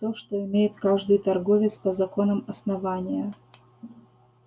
то что имеет каждый торговец по законам основания